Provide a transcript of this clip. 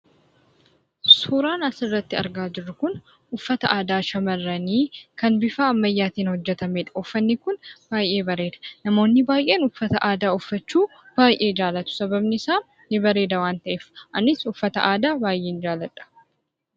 Suuraan as irratti argaa jirru kun, uffata aadaa shamarranii kan bifa ammayyaatiin hojjetameedha. Uffani kun baay'ee bareeda. Namooni baay'een uffata aadaa uffachuu baay'ee jaallatu. Sababni isa ni bareeda waan ta'eef. Anis uffata aadaa baay'een jaaladha.